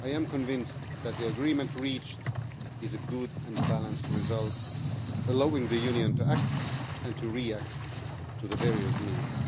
I am convinced that the agreement reached is a good and balanced result, allowing the Union to act and to react to the various needs.